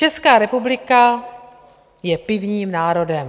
Česká republika je pivním národem.